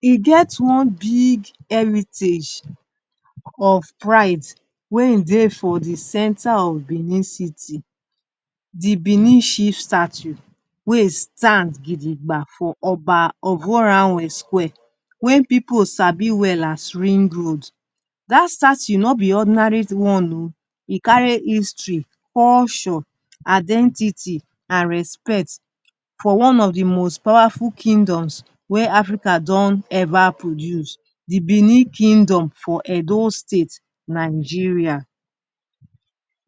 E get one big heritage of pride wey ein dey for the centre of Benin City—the Benin Chief State wey state gidigba for Oba square wey pipu sabi well as Ringroad. Dat statue no be ordinary one oh. E carry history, culture, identity, an respect for one of the most powerful kingdoms wey Africa don ever produce—the Benin Kingdom for Edo State, Nigeria.